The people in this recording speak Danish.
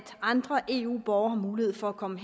andre eu borgere har mulighed for at komme